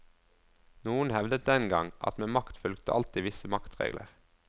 Noen hevdet den gang at med makt fulgte alltid visse maktregler.